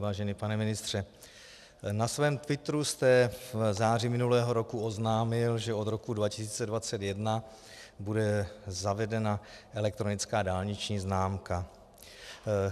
Vážený pane ministře, na svém twitteru jste v září minulého roku oznámil, že od roku 2021 bude zavedena elektronická dálniční známka.